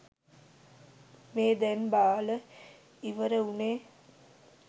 මේ දැන් බාල ඉවර වුනේ.